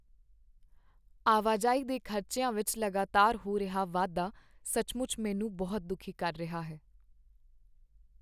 ਆਵਾਜਾਈ ਦੇ ਖ਼ਰਚਿਆਂ ਵਿੱਚ ਲਗਾਤਾਰ ਹੋ ਰਿਹਾ ਵਾਧਾ ਸੱਚਮੁੱਚ ਮੈਨੂੰ ਬਹੁਤ ਦੁੱਖੀ ਕਰ ਰਿਹਾ ਹੈ।